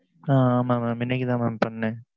ஆஹ் ஆமாம் mam இன்னைக்கு தான் பண்ணுனேன்